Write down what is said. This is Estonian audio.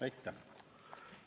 Aitäh!